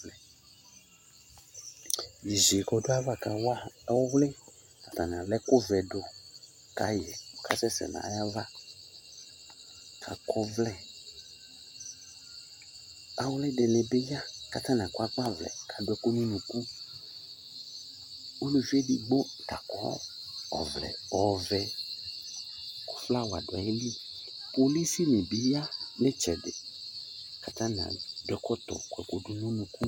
dzé sié kɔ du ava kawa ɔɔwli tani ala ɛku vɛ du ka yi kasɛsɛ na yava kakɔ vlɛ awli dini bi ya ka tani akɔ agba vlɛ ka adu ɛku nu unuku uluvi édigbo lakɔ ɔvlɛ ɔvɛ ku flawa du ayili polisi ni bi ya ni itsɛdi ka atani adu ɛkɔtɔ kɔku du nu unu ku